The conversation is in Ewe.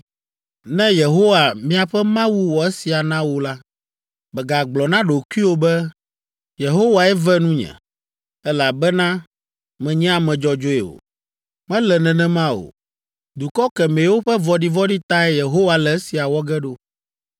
“Ne Yehowa miaƒe Mawu wɔ esia na wò la, mègagblɔ na ɖokuiwò be, ‘Yehowae ve nunye, elabena menye ame dzɔdzɔe o.’ Mele nenema o. Dukɔ kemɛwo ƒe vɔ̃ɖivɔ̃ɖi tae Yehowa le esia wɔ ge ɖo.